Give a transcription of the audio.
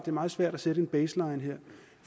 er meget svært at sætte en baseline her